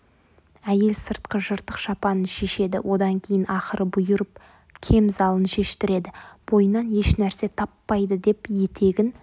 әйел сыртқы жыртық шапанын шешеді одан кейін ақыры бұйырып кемзалын шештіреді бойынан ешнәрсе таппайды деп етегін